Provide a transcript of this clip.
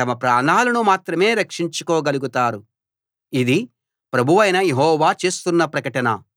తమ ప్రాణాలను మాత్రమే రక్షించుకోగలుగుతారు ఇది ప్రభువైన యెహోవా చేస్తున్న ప్రకటన